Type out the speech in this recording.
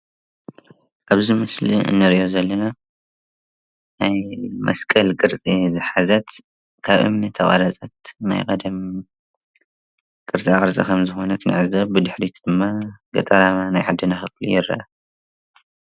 ኣብዚ ምስሊ እንሪኦ ዘለና ናይ መስቀል ቅርፂ ዝሓዘት ካብ እምኒ ተቐረፀት ናይ ቀደም ቅርፃቅርፂ ከምዝኾነት ንዕዘብ፡፡ ብድሕሪት ድማ ገጠራማ ናይ ዓድና ከባቢ ይርአ፡፡